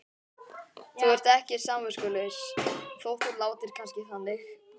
Þú ert ekki samviskulaus þótt þú látir kannski þannig.